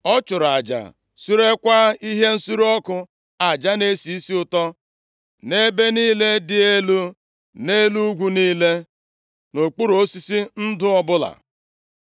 Ọ chụrụ aja surekwaa ihe nsure ọkụ aja na-esi isi ụtọ nʼebe niile dị elu, nʼelu ugwu niile, na nʼokpuru osisi ndụ ọbụla.